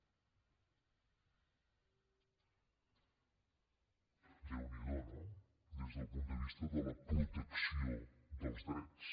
déu n’hi do no des del punt de vista de la protecció dels drets